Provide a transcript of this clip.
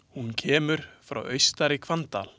Hún kemur frá Austari-Hvanndal.